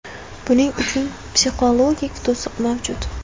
Buning uchun psixologik to‘siq mavjud.